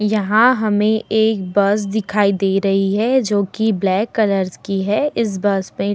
यहाँ हमें एक बस दिखाई दे रही है जोकि ब्लैक कलर की है इस बस पे --